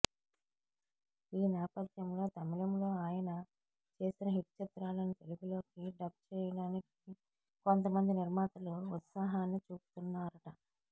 ఈ నేపథ్యంలో తమిళంలో ఆయన చేసిన హిట్ చిత్రాలను తెలుగులోకి డబ్ చేయడానికి కొంతమంది నిర్మాతలు ఉత్సాహాన్ని చూపుతున్నారట